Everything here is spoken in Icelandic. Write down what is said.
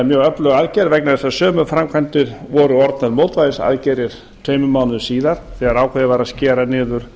mjög öflug aðgerð vegna þess að sömu framkvæmdir voru orðnar mótvægisaðgerðir tveimur mánuðum síðar þegar ákveðið var að skera niður